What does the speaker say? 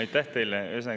Aitäh teile!